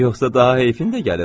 "Yoxsa daha heyfin də gəlir, hə?"